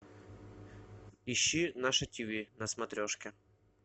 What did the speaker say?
ищи наше ти ви на смотрешке